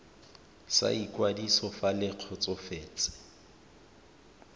sa ikwadiso fa le kgotsofetse